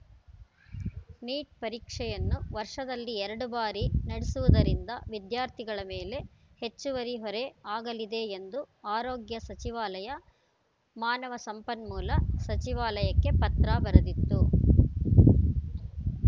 neat ಪರೀಕ್ಷೆಯನ್ನು ವರ್ಷದಲ್ಲಿ ಎರಡು ಬಾರಿ ನಡೆಸುವುದರಿಂದ ವಿದ್ಯಾರ್ಥಿಗಳ ಮೇಲೆ ಹೆಚ್ಚುವರಿ ಹೊರೆ ಆಗಲಿದೆ ಎಂದು ಆರೋಗ್ಯ ಸಚಿವಾಲಯ ಮಾನವ ಸಂಪನ್ಮೂಲ ಸಚಿವಾಲಯಕ್ಕೆ ಪತ್ರ ಬರೆದಿತ್ತು